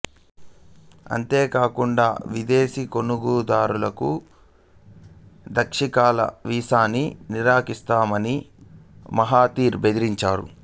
అంతేకాకుండా విదేశీ కొనుగోలుదారులకు దీర్ఘకాల వీసాను నిరాకరిస్తామని మహతీర్ బెదిరించాడు